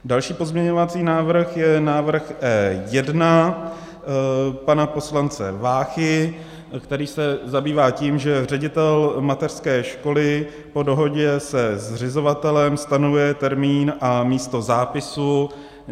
Další pozměňovací návrh je návrh E1 pana poslance Váchy, který se zabývá tím, že ředitel mateřské školy po dohodě se zřizovatelem stanovuje termín a místo zápisu.